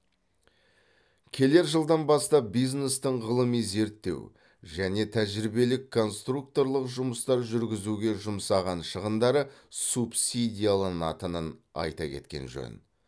келер жылдан бастап бизнестің ғылыми зерттеу және тәжірибелік конструкторлық жұмыстар жүргізуге жұмсаған шығындары субсидияланатынын айта кеткен жөн